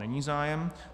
Není zájem.